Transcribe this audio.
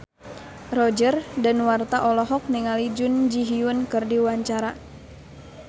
Roger Danuarta olohok ningali Jun Ji Hyun keur diwawancara